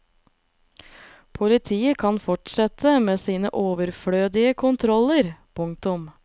Politiet kan fortsette med sine overflødige kontroller. punktum